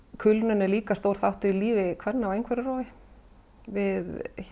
kulnun er líka stór þáttur í lífi kvenna á einhverfurófi við